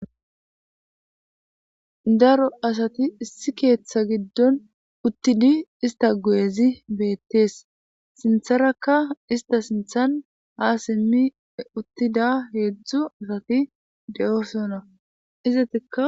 daro asati issi keeththa giddon uttidi ista gu7ezi beettees sintharakka ista sinthan ha simmi uttida heedzdzu asati de7osona iza tika